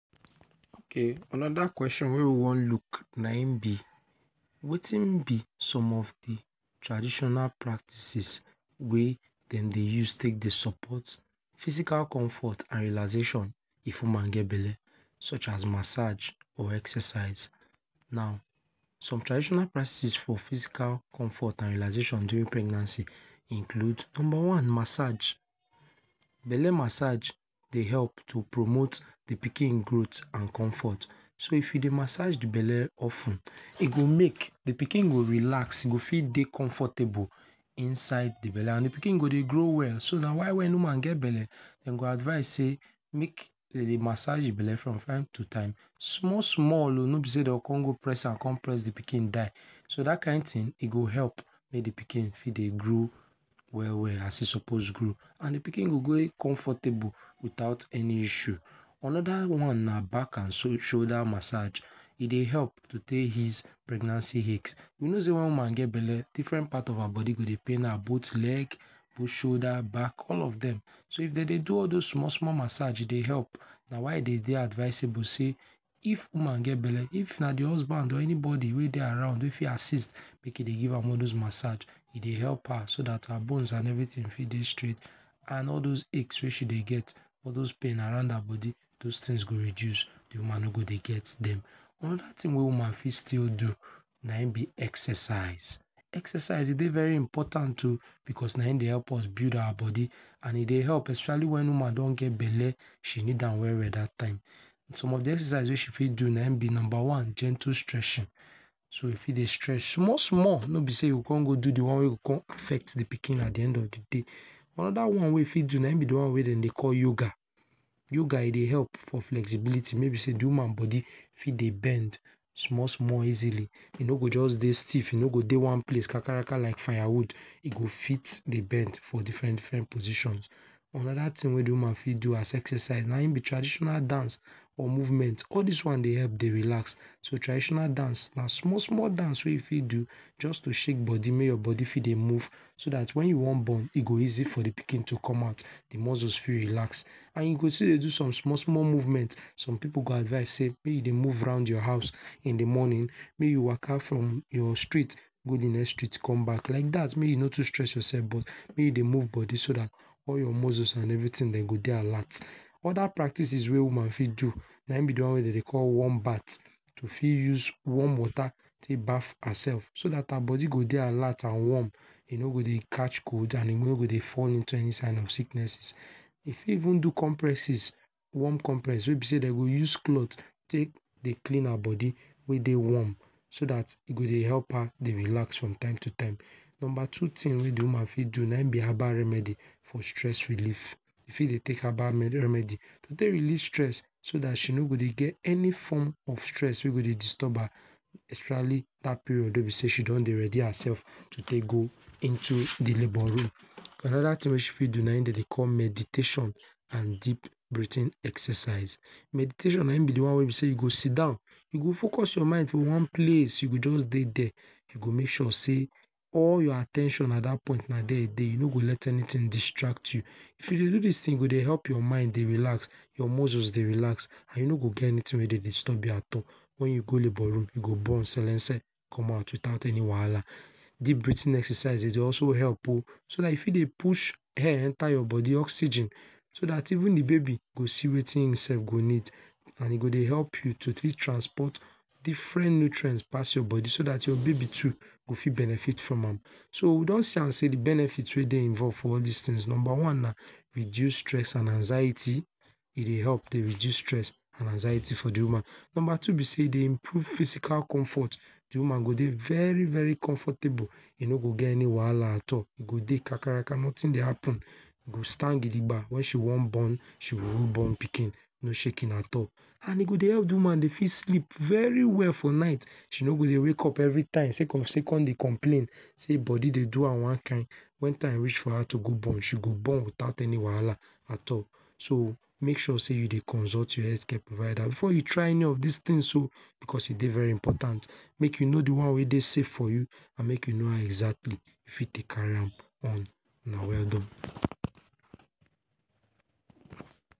okay another question wey we wan look na him be wetin be some of the traditional practices wey them dey use take dey support physical comfort and relaxation if woman get belle, such as massage or exercise now some traditional practices for physical comfort and relaxation during pregnancy include number one massage, belle massage dey help to promote the pikin growth and comfort so if you dey massage belle of ten e go make di pikin go relax go fit dey comfortable inside the belle and the pikin go dey grow well so na why when woman get belle dem go advise say make dem dey massage the belle from time to time small small no be say dem go come press am come press the pikin die so that kind thing go help make the pikin fit dey grow well well as he suppose grow and the pikin go grow comfortable without any issue another one na back and shoulder massage e dey help to take ease pregnancy ache you know say wen woman get belle different part of her body go dey pain am both leg, both shoulder, back all of dem so if dem dey do all dos small small massage e dey help na why e dey dey advisable say if woman get belle if na the husband or anybody wey dey around wey fit assit make he dey give am all dos massage he dey help her so that bones and everything fit dey straight and all dos aches wey she dey get all pain around her body dos tins go reduce di woman no go dey get dem, another tin wey woman fit still do na him be exercise exercise e dey very important o because na him dey help us build our body and e dey help especially when woman don get belle she need am well well that time some of the exercise wey she fit do na him be number one gentle stretching so you fit dey stretch small small no be see youngo come go do the one wey come affect the pikin at the end of the day another one wey e fit do na the one wey dem dey call yoga, yoga e dey help for flexibility wey be say the woman body fit dey bend small small easily e no go jus dey stiff dey one place kakaraka like firewood e go fit dey bend for different different position another thing wey the woman fit do as exercise na him be traditional dance or movement all this one dey help relax, so traditional dance na small small dance wey fit do jus to shake body make your body fit dey move so dat wen you wan born e go easy for di pikin to com out, di muscles fit relax and you go still dey do some small small movement, som pipu go advice sey may you dey move round your house in di mornin, may you waka from your street go di next street com back like dat mek you no too stress your sef but may you dey move body so dat all you muscles and everytins dem go dey alert, oda practices wey woman fit do na im be di one wey dey dey call warm bath, to fit use warm wata tek baff hersef so dat her body go dey alert and warm e no go dey catch cold and e no go dey fall into any kin of sicknesses e fit even do compresses, warm compress wey dem dey use cloth tek dey clean her body wey dey warm so dat e go dey help her relax from time to time. Number two tin wey dey woman fit do na im be herbal remedy for stress relieve, e fit dey tek herbal remedy to tek release so dat she no go dey get any form of stress wey go dey disturb her, especially dat period wey she don dey ready hersef to tek go into di labour rum, anoda tin wey she fit do na im dey dey call meditation and deep breathing exercise, meditation na im be di wan wey be sey you go Sidon you go focus your mind to one place you go jus dey dere, you go mek sure sey all your at ten tion at dat point na dere in dey, you no go let anytin distract you, if you dey do dis tin e go dey help your mind relax, your muscles dey relax and you no go get anytin wey dey disturb you at all wen you go labour rum you go born selense com out without any wahala, deep breathing exercises dey also help oh, so dat you fit dey push air enter your body oxygen so dat even di bodi go see wetin in sef go need and e go dey help you to fit transport different nutrients pass your body so dat your babi too go fit benefit from am, so we don see am sey di benefit wey dey involve in all dis tins, number one na reduce stress and anxiety, e dey help to reduce stress and anxiety for the woman, number two be sey e dey improve physical comfort, dey woman go dey very very comfortable e no go get any wahala at all e go dey kakaraka notin dey happen e go stand gidiga wen she wan born she go born pikin no shake at all and e go dey help di woman dey fit sleep very well for night she no go dey wake up every night sey cause sey con dey complain sey body dey do am wan kin, wen time reach for am to go born she go born without any wahala at all so mek sure sey you dey consult your healthcare provider before you try any of dis tins oh becos e dey very important mek you know di one wey dey safe for you and mek you know how exactly how you fit tek carri am on, una weldone